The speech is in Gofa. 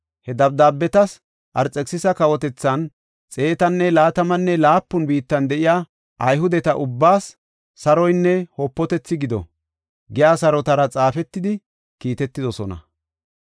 He dabdaabeti Arxekisisa kawotethan, xeetanne laatamanne laapun biittan de7iya Ayhudeta ubbaas saroynne wopatethi gido giya sarotara xaafetidi kiitetidosona.